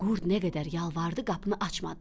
Qurd nə qədər yalvardı, qapını açmadılar.